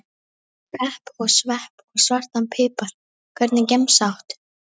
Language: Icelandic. Pepp og svepp og svartan pipar Hvernig gemsa áttu?